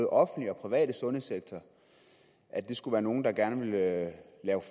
offentlige og private sundhedssektor skulle være nogle der gerne ville lave